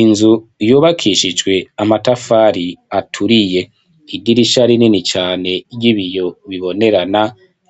Inzu yubakishijwe amatafari aturiye, idirisha rinini cane ry'ibiyo bibonerana